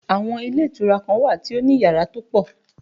Àwọn ilé ìtura kan wà tó ní yàrá tó pọ̀